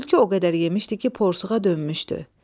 Tülkü o qədər yemişdi ki, porşuğa dönmüşdü.